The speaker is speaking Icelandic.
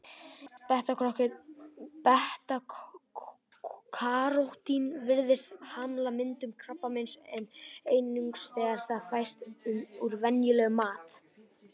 Beta-karótín virðist hamla myndun krabbameins, en einungis þegar það fæst úr venjulegum mat.